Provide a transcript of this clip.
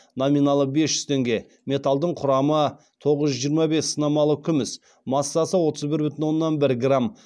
номиналы бес жүз теңге металдың құрамы тоғыз жүз жиырма бес сынамалы күміс массасы отыз бір бүтін оннан бір грамм